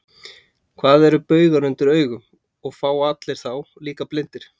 Hvað eru baugar undir augum, og fá allir þá, líka blindir?